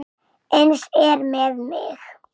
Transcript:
Eins er með mig.